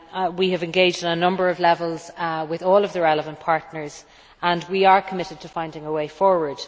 We have engaged at a number of levels with all of the relevant partners and we are committed to finding a way forward.